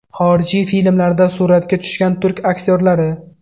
Xorijiy filmlarda suratga tushgan turk aktyorlari .